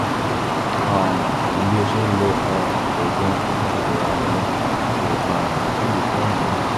um àmọ́ bí ó ṣe ń lo um oògùn apakòkòrò ààrùn lọ kò um sídìí fún àníyàn